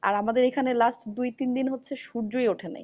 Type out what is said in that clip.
আর আমাদের এখানে last দুই তিন হচ্ছে সূর্যই উঠেনি।